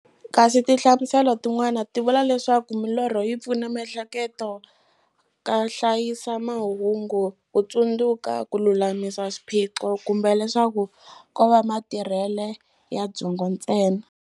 Kasi tinhlamuselo ti n'wana ti vula leswaku milorho yi pfuna miehleketo ka hlayisa mahungu, kutsundzuka, kululamisa swiphiqo, kumbe leswaku kova matirhele ya byongo ntsena.